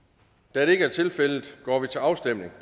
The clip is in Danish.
da det ikke er tilfældet går vi til afstemning